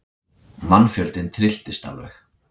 Mannfjöldinn trylltist alveg.